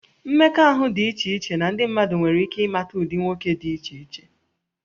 Mmekọahụ dị iche iche na ndị mmadụ nwere ike ịmata ụdị nwoke dị iche iche